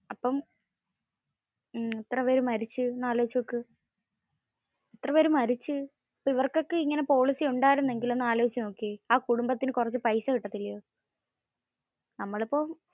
അപ്പോം എത്ര പേര് മരിച്ചു, എന്ന് അലോയ്‌ച്ചു നോക്ക്. ഇവർക്കൊക്കെ ഇങ്ങനെ policy ഉണ്ടായിരുന്നെങ്കിൽ ഒന്ന് അലോയ്ച്ച നോകിയെ ആ കുടുംബത്തിന് കുറച്ചു പൈസ കിട്ടത്തില്ല്യേ.